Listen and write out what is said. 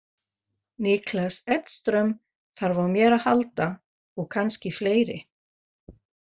Niklas Edström þarf á mér að halda og kannski fleiri.